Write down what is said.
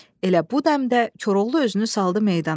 Elə bu dəmdə Koroğlu özünü saldı meydana.